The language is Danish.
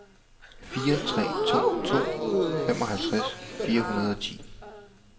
fire tre to to femoghalvtreds fire hundrede og ti